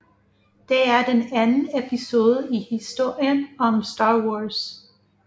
Det er den anden episode i historien om Star Wars